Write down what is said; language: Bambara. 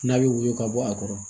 N'a bɛ woyo ka bɔ a kɔrɔ